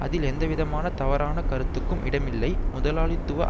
அதில் எந்தவிதமான தவறான கருத்துக்கும் இடமில்லை முதலாளித்துவ